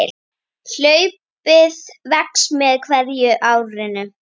Hlaupið vex með hverju árinu.